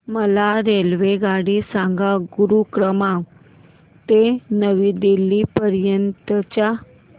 मला रेल्वेगाडी सांगा गुरुग्राम ते नवी दिल्ली पर्यंत च्या